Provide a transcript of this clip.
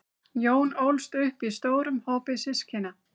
jón ólst upp í stórum hópi systkina